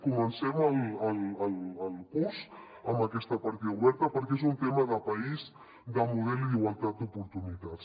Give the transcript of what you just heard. comencem el curs amb aquesta partida oberta perquè és un tema de país de model i d’igualtat d’oportunitats